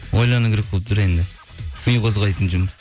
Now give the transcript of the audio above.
ойлану керек болып тұр енді ми қозғайтын жұмыс